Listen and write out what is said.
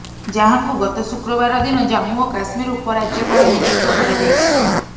ଯାହାଙ୍କୁ ଗତ ଶୁକ୍ରବାର ଦିନ ଜାମ୍ମୁ ଓ କାଶ୍ମୀର ଉପରାଜ୍ୟପାଳ ନିଯୁକ୍ତ କରାଯାଇଛି